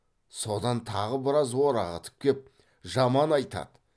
содан тағы біраз орағытып кеп жаман айтады